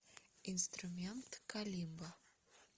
инструмент калимба